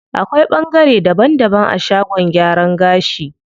Akwai ɓangare daban daban a shagon gyaran gashi.